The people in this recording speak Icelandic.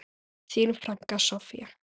Þín frænka, Soffía.